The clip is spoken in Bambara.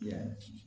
Yan